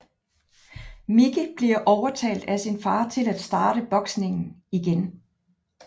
Micky bliver overtalt af sin far til at starte boksningen igen